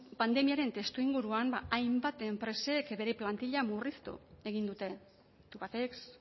pandemiaren testuinguruan hainbat enpresek bere plantilla murriztu egin dute tubacex